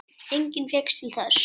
Enginn fékkst til þess.